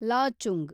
Lachung